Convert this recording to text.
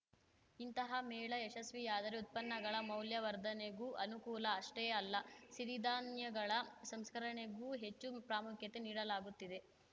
ಇಂತಹ ಮೇಳ ಯಶಸ್ವಿಯಾದರೆ ಉತ್ಪನ್ನಗಳ ಮೌಲ್ಯವರ್ಧನೆಗೂ ಅನುಕೂಲ ಅಷ್ಟೇ ಅಲ್ಲ ಸಿರಿಧಾನ್ಯಗಳ ಸಂಸ್ಕರಣೆಗೂ ಹೆಚ್ಚು ಪ್ರಾಮುಖ್ಯತೆ ನೀಡಲಾಗುತ್ತಿದೆ